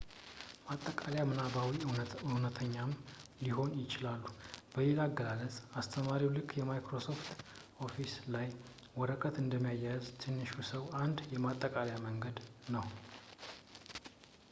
ማጠቃለያ ምናባዊም እውነተኛም ሊሆኑ ይችላሉ በሌላ አገላለጽ አስተማሪ ልክ ማይክሮሶፍት ኦፊስ ላይ ወረቀት እንደሚያያይዝ ትንሹ ሰው አንድ የማጠቃለያ መንገድ ነው